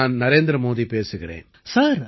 நான் நரேந்திர மோதி பேசுகிறேன்